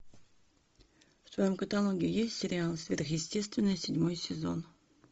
в твоем каталоге есть сериал сверхъестественное седьмой сезон